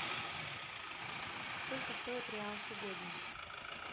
сколько стоит реал сегодня